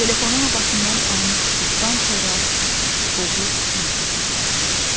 Telefonun o başından ani sükutdan sonra boğuq hönkürtü gəldi.